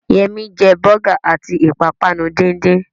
Yẹmí jẹ bọ́gà àti ìpápánu díndín